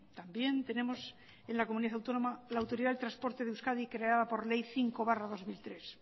también tenemos en la comunidad autónoma la autoridad de transporte en euskadi creada por ley cinco barra dos mil tres